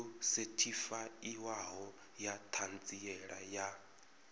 yo sethifaiwaho ya ṱhanziela ya